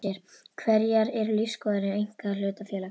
Hverjar eru lífsskoðanir einkahlutafélags?